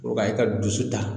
Korokara e ka dusu ta